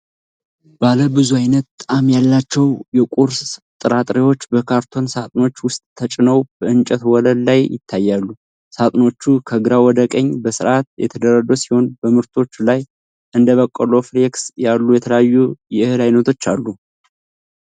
ባለ ብዙ ዓይነት ጣዕም ያላቸው የቁርስ ጥራጥሬዎች በካርቶን ሣጥኖች ውስጥ ተጭነው በእንጨት ወለል ላይ ይታያሉ። ሣጥኖቹ ከግራ ወደ ቀኝ በሥርዓት የተደረደሩ ሲሆን በምርቶቹ ላይ እንደ በቆሎ ፍሌክስ ያሉ የተለያዩ የእህል ዓይነቶች አሉ።